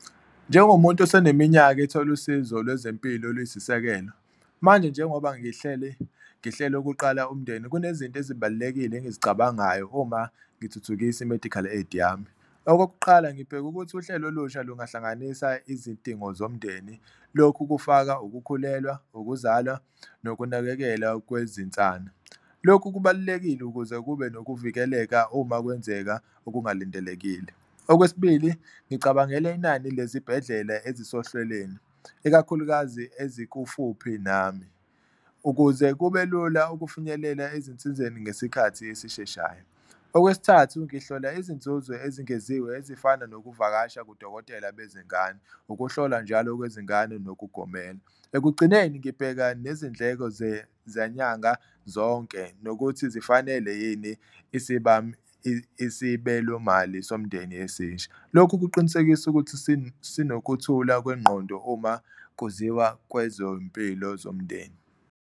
Njengomuntu eseneminyaka ethola usizo lwezempilo oluyisisekelo, manje njengoba ngihleli ngihlele ukuqala umndeni kunezinto ezibalulekile engizicabangayo uma ngithuthukisa i-medical aid yami. Okokuqala, ngibheka ukuthi uhlelo olusha lungahlanganisa izidingo zomndeni lokhu kufaka ukukhulelwa, ukuzalwa nokunakekelwa kwezinsana, lokhu kubalulekile ukuze kube nokuvikeleka uma kwenzeka okungalindelekile. Okwesibili, ngicabangele inani lezibhedlela ezisohlwelweni ikakhulukazi ezikubufuphi nami ukuze kube lula ukufinyelela ezinsizeni ngesikhathi esisheshayo. Okwesithathu, ngihlola izinzuzo ezingeziwe ezifana nokuvakasha kudokotela bezingane, ukuhlola njalo kwezingane nokugomela, ekugcineni ngibheka nezindleko zanyanga zonke nokuthi zifanele yini isibelo mali somndeni esisha. Lokhu kuqinisekisa ukuthi sinokuthula kwengqondo uma kuziwa kwezompilo zomndeni.